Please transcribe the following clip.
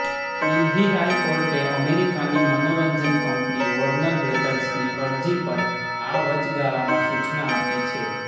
દિલ્હી હાઈકોર્ટે અમેરિકાની મનોરંજન કંપની વોર્નર બ્રધર્સની અરજી પર આ વચગાળામાં સૂચના આપી છે